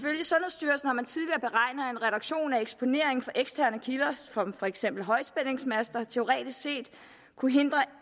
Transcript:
reduktion af eksponeringen fra eksterne kilder som for eksempel højspændingsmaster teoretisk set kunne hindre